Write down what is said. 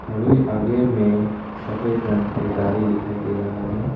थोड़ी आगे में सफेद रंग के गाड़ी दिखाई दे रहा है।